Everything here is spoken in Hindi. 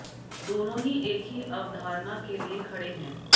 दोनों ही एक ही अवधारणा के लिए खड़े हैं